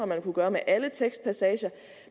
man kunne gøre med alle tekstpassager